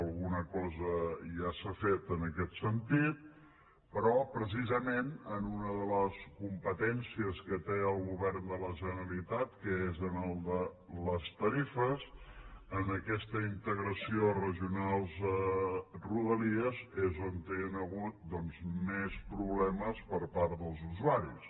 alguna cosa ja s’ha fet en aquest sentit però precisament en una de les competències que té el govern de la generalitat que és en el de les tarifes en aquesta integració regionals rodalies és on hi han hagut més problemes per part dels usuaris